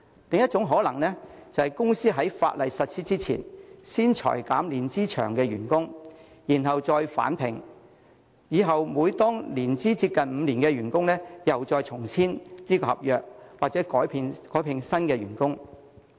另一種可能性是，公司在法例實施之前，先裁減年資長的員工，然後再聘回他們，以後每當員工的年資接近5年，又再與他們重新簽訂合約，或改聘新員工。